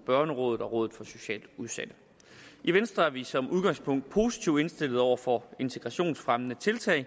børnerådet og rådet for socialt udsatte i venstre er vi som udgangspunkt positivt indstillet over for integrationsfremmende tiltag